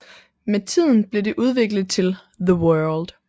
Med tiden blev det udviklet til The World